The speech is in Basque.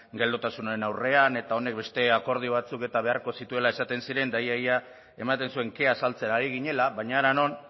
geldotasunaren aurrean eta honek beste akordio batzuk eta beharko zituela esaten ziren eta ia ia ematen zuen kea azaltzera ari ginela baina hara non